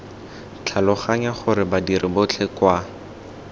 tlhaloganya gore badiri botlhe kwa